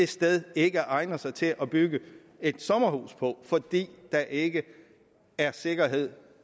sted ikke egner sig til at bygge et sommerhus på fordi der ikke er sikkerhed